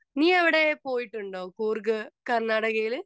Speaker 2 നീ അവിടെ പോയിട്ടുണ്ടോ കൂർഗ് കർണാടകയില്?